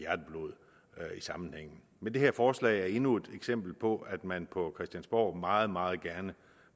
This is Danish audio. sammenhængen men det her forslag er endnu et eksempel på at man på christiansborg meget meget gerne